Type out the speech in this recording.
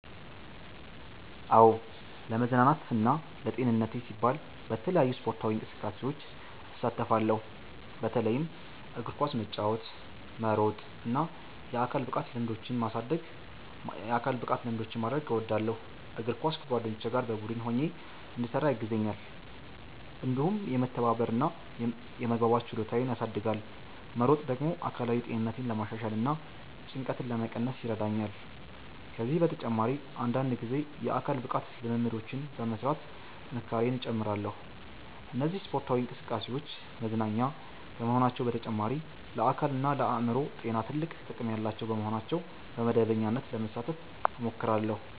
"አዎ፣ ለመዝናናትና ለጤንነቴ ሲባል በተለያዩ ስፖርታዊ እንቅስቃሴዎች እሳተፋለሁ። በተለይም እግር ኳስ መጫወት፣ መሮጥ እና የአካል ብቃት ልምምዶችን ማድረግ እወዳለሁ። እግር ኳስ ከጓደኞቼ ጋር በቡድን ሆኜ እንድሰራ ያግዘኛል፣ እንዲሁም የመተባበር እና የመግባባት ችሎታዬን ያሳድጋል። መሮጥ ደግሞ አካላዊ ጤንነቴን ለማሻሻል እና ጭንቀትን ለመቀነስ ይረዳኛል። ከዚህ በተጨማሪ አንዳንድ ጊዜ የአካል ብቃት ልምምዶችን በመሥራት ጥንካሬዬን እጨምራለሁ። እነዚህ ስፖርታዊ እንቅስቃሴዎች መዝናኛ ከመሆናቸው በተጨማሪ ለአካልና ለአእምሮ ጤና ትልቅ ጥቅም ያላቸው በመሆናቸው በመደበኛነት ለመሳተፍ እሞክራለሁ።"